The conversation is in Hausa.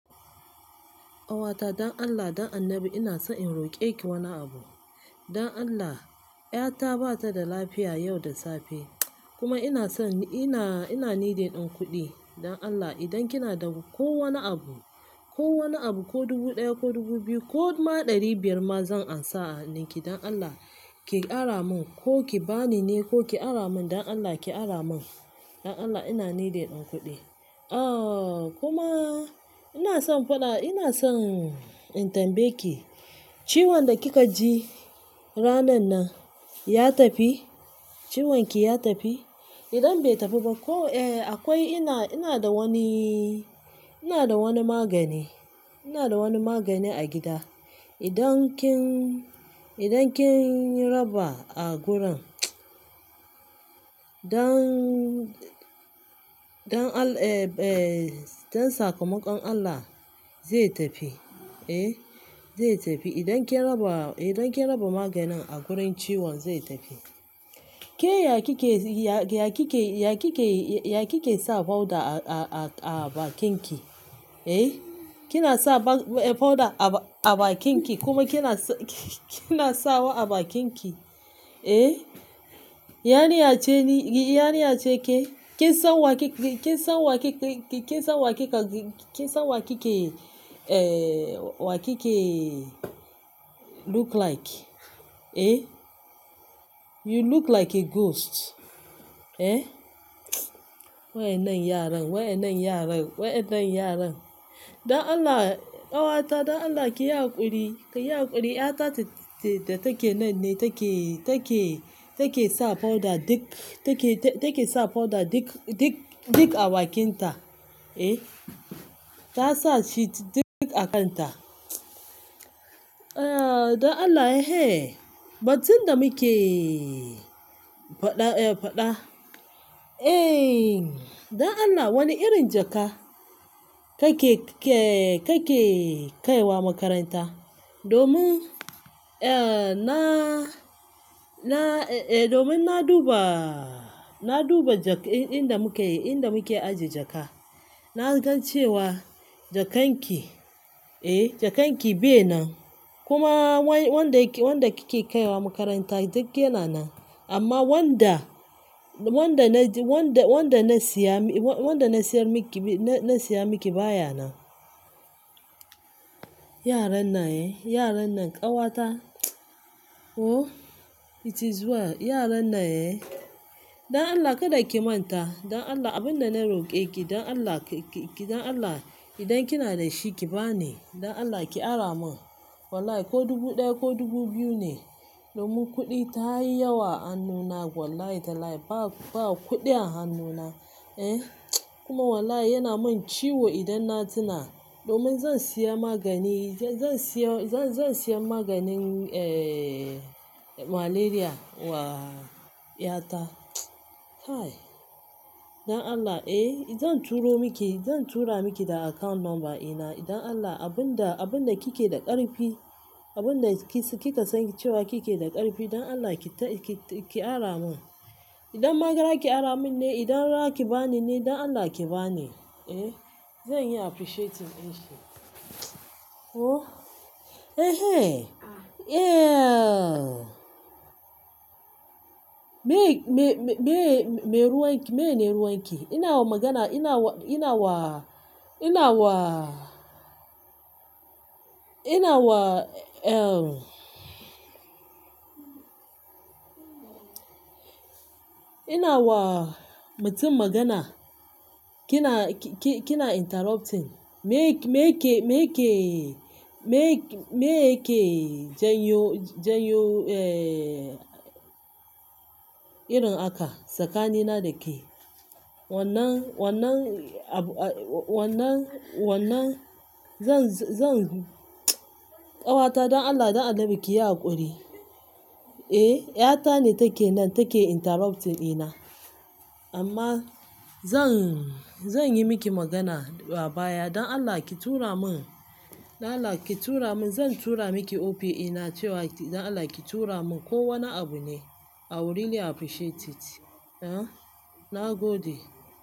Ƙawata don Allah, don annabi ina so in roƙe ki wani abu. Don Allah, ƴata ba ta da lafiya yau da safe kuma ina son-- ina, ina needin ɗan kuɗi. Don Allah idan kina da ko wani abu, ko wani abu ko dubu ɗaya ko dubu biyu ko ma ɗari biyar ma zan ansana a hannuki. Don Allah ki ara mun ko ki bani ne ko ki ara mun don Allah ki ara mun. Don Allah ina needin ɗan kuɗi. Ahhh kuma ina son faɗa, ina son in tambaye ki ciwon da kika ji ranan nan ya tafi? Ciwon ki ya tafi? Idan bai tafi ba ko, eh akwai-- ina, ina da waniiiii, ina da wani magani, ina da wani magani a gida. Idan kin, idan kin raba a guran mts don, don All- eh, eh don sakamakon Allah zai tafi. Eh zai tafi. Idan kin raba, idan kin raba maganin a gurin ciwon zai tafi. Kee ya kike, ya, ya kike, ya kike, ya kike sa powder a, a, a bakin ki? Ehh? Kina sa ba-- eh powder a ba-a bakin ki kuma kina sa, ki-kina sawa a bakin ki, eh. Yariya ceni, ya cike ki. Kin sa wa ke ke, kin sa wa ke ke, kin sa wa ke ka ke, kin sa wa kike eh wakike look like, eh. You look like a ghost, eh. Mts wainan yaran, wainan yaran, wainan yaran. Don Allah, ƙawata don Allah ki yi haƙuri, ki yi haƙuri ƴata ce, ce da take nan ne take, take, take sa powder duk, take, take sa powder duk, duk, duk a bakin ta, eh. Ta sa shi duk a kan ta. Eh don Allah eh, batun da muke faɗa, eh faɗa. Eh don Allah wani irin jaka kake ke, kake kaiwa makaranta domin eh na, na, eh domin na duba, na duba jak ɗin inda muka yi, ɗin inda muke ajiye jaka. Na gan cewa jakanki, eh jakanki bai nan. Kuma wan-wanda yake, wanda kike kaiwa makaranta duk yana nan. Amma wanda, wanda na ji, wanda, wanda na siya mi, wa-wanda na siyar miki, na, na siya miki baya nan. Yaran nan eh, yaran nan ƙawata oh it is well. Yaran nan eh. Don Allah kada ki manta. Don Allah abin da na roƙe ki don Allah ki, ki, ki don Allah idan kina da shi ki bani. Don Allah ki ara mun. Wallahi ko dubu ɗaya ko dubu biyu ne. Domin kuɗi ta yi yawa hannuna wallahi talahi ba, ba kuɗi a hannuna, eh kuma wallahi yana min ciwo idan na tuna. Domin zan siya magani, zan, zan siya, zan, zan siya maganin eh malaria wa ƴata mts kai. Don Allah eh zan turo miki, zan tura miki da account number ina. Idan Allah abin da, abin da kike da ƙarfi, abin da ki s-kika san cewa kike da ƙarfi don Allah ki ta-ki, ki ara mun. Idan magara ki ara mun ne, idan raki bani ne don Allah ki bani, eh. Zan yi appreciate it ɗin shi. Oh, eh he, yeah. Me, me, me, me ruwan ki, mene ruwan ki? Ina wa magana, ina wa, ina wa, ina wa, ina wa, em emmmhhh. Ina wa mutum magana kina ki, ki, kina interrupting. Me, me ke, me ke, me, me ke janyo, janyo eh irin haka tsakaninna da ke? Wannan, wannan abu, wannan, wannan-- zan, zan ƙawata don Allah, don annabi ki yi haƙuri. Eh ƴata ne take nan take interrupting ina. Amma zan, zan yi miki magana a baya. Don Allah ki tura mun, don Allah ki tura mun. Zan tura miki OPA na cewa don Allah ki tura mun ko wani abu ne. I will really appreciate it. Eh na gode.